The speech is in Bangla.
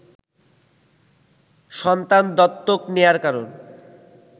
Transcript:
সন্তান দত্তক নেয়ার কারণ